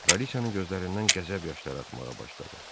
Kraliçanın gözlərindən qəzəb yaşları axmağa başladı.